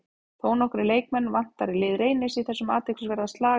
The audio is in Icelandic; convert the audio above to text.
Þónokkra leikmenn vantar í lið Reynis í þessum athyglisverða slag í kvöld.